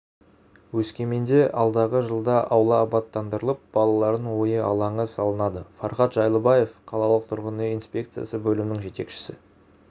өскеменде алдағы жылда аула абаттандырылып балалардың ойын алаңы салынады фархат жыйлыбаев қалалық тұрғын-үй инспекциясы бөлімінің жетекшісі